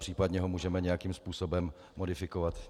Případně ho můžeme nějakým způsobem modifikovat.